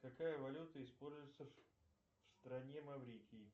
какая валюта используется в стране маврикии